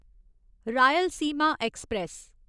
Rayalaseema express